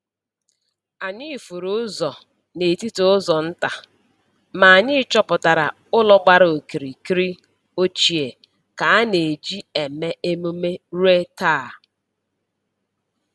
Anyị furu ụzọ n’etiti ụzọ nta, ma anyị chọpụtara ụlọ gbara okirikiri ochie ka a na-eji eme emume ruo taa.